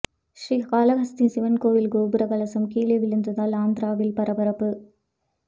ஸ்ரீகாளகஸ்தி சிவன் கோயில் கோபுர கலசம் கீழே விழுந்ததால் ஆந்திராவில் பரபரப்பு